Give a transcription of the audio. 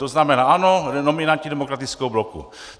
To znamená ano, nominanti demokratického bloku.